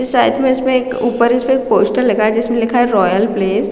फिर साइड में इसमें एक ऊपर इसमें एक पोस्टर लगा है जिसमें लिखा है रॉयल प्लेस --